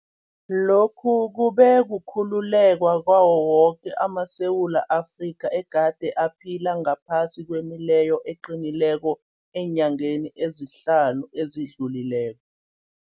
Lokhu kube kukhululeka kwawo woke amaSewula Afrika egade aphila ngaphasi kwemileyo eqinileko eenyangeni ezihlanu ezidlulileko.